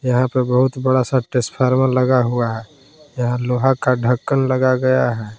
यहां पे बहुत बड़ा सा ट्रांसफार्मर लगा हुआ है यहां लोहा का ढक्कन लग गया है।